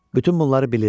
Bütün bunları bilirdi.